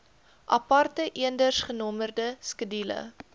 aparte eendersgenommerde skedules